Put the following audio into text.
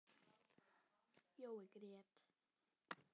Jói grét.